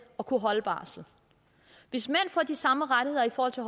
at kunne holde barsel hvis mænd får de samme rettigheder i forhold til